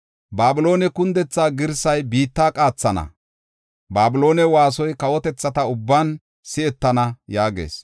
Babiloone kundethaa girsay biitta qaathana; Babiloone waasoy kawotethata ubban si7etana” yaagees.